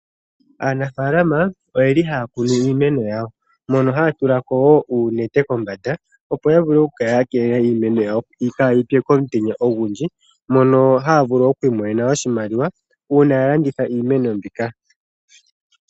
Aanafaalama ohaya kunu iimeno yawo haya tula ko uunete kombanda opo yavule oku kala yakeelela iimeno yawo kaayitse komutenya ogundji mono haya imonene iimaliwa uuna yalanditha iimeno mbika.